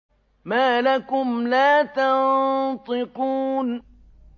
مَا لَكُمْ لَا تَنطِقُونَ